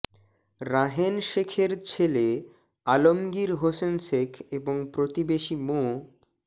রাহেন শেখের ছেলে আলমগীর হোসেন শেখ এবং প্রতিবেশী মো